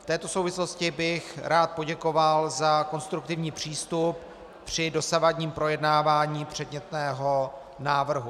V této souvislosti bych rád poděkoval za konstruktivní přístup při dosavadním projednávání předmětného návrhu.